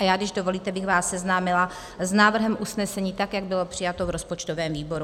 A já, když dovolíte, bych vás seznámila s návrhem usnesení, tak jak bylo přijato v rozpočtovém výboru.